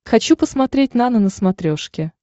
хочу посмотреть нано на смотрешке